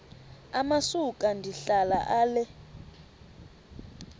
amasuka ndihlala ale